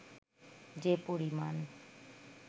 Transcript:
যে পরিমাণ